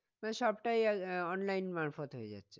মানে সবটাই আহ online মারপথ হয়ে যাচ্ছে।